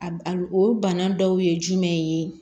Al o bana dɔw ye jumɛn ye